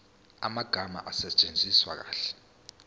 amagama asetshenziswe kahle